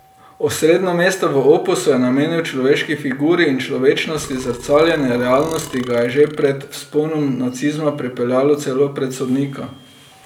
Osrednje mesto v opusu je namenil človeški figuri in človečnosti, zrcaljenje realnosti ga je že pred vzponom nacizma pripeljalo celo pred sodnika.